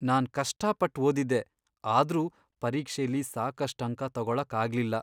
ನಾನ್ ಕಷ್ಟಾಪಟ್ಟ್ ಓದಿದ್ದೆ, ಆದ್ರೂ ಪರೀಕ್ಷೆಲಿ ಸಾಕಷ್ಟ್ ಅಂಕ ತಗೊಳಕ್ ಆಗ್ಲಿಲ್ಲ.